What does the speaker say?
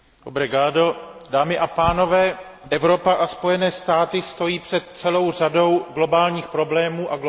Dámy a pánové, Evropa a Spojené státy stojí před celou řadou globálních problémů a globálních výzev.